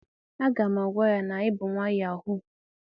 a ga m agwa ya na i bu nwa yahoo.